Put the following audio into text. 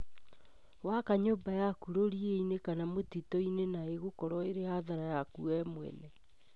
Waka nyũmba yaku rũriĩ-inĩ kana mũtitũ-inĩ na ĩgũkorwo ĩ hathara yaku we mwenyewe